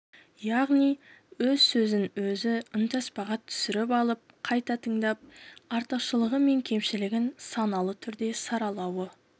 яғни өз сөзін өзі үнтаспаға түсіріп алып қайта тыңдап артықшылығы мен кемшілігін саналы түрде саралауы